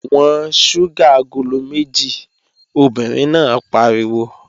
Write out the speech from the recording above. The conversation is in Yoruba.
Wọ́n ṣúgà agolo méjì! Obìnrin náà pariwo.